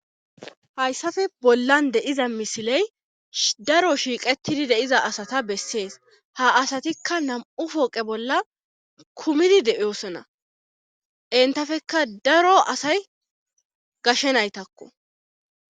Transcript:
hayssafe bollan de'iza misiley daro shiiqetidi deiza asata bessees ha asatikka nam7u pooqe bolla kumidi deiosona entafekka daro asay gashshe naytakko